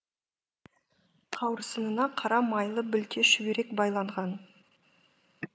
қауырсынына қара майлы білте шүберек байланған